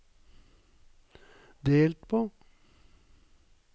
delt på